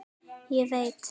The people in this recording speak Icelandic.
Ég veit